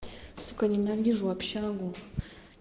сука ненавижу общагу